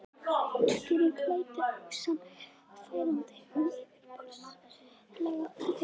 Útskýringin lætur ósannfærandi og yfirborðslega í eyrum.